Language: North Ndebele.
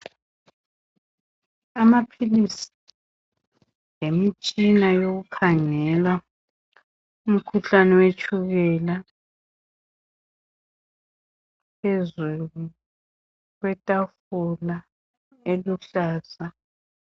Amaphilisi lemitshina yokukhangela umkhuhlane wetshukela phezulu kwetafula eluhlaza.